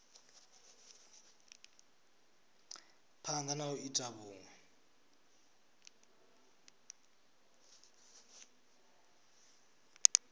phanda na u ita vhunwe